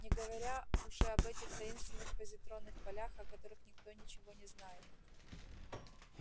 не говоря уже об этих таинственных позитронных полях о которых никто ничего не знает